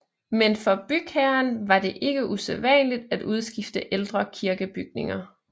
Men for bygherren var det ikke usædvanligt at udskifte ældre kirkebygninger